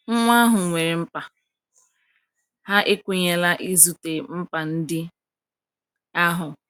Nwa ahụ nwere mkpa, ha ekwenyela izute mkpa ndị ahụ.